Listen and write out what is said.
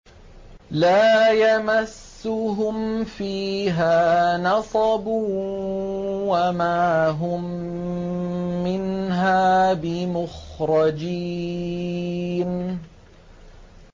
لَا يَمَسُّهُمْ فِيهَا نَصَبٌ وَمَا هُم مِّنْهَا بِمُخْرَجِينَ